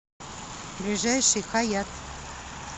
ближайший хаят